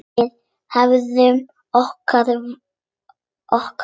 Við hefnum okkar.